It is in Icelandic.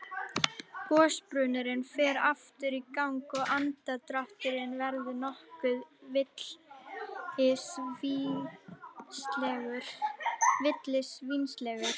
Gosbrunnurinn fer aftur í gang og andardrátturinn verður nokkuð villisvínslegur.